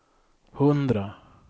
hundra